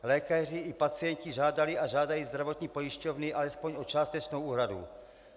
Lékaři i pacienti žádali a žádají zdravotní pojišťovny alespoň o částečnou úhradu.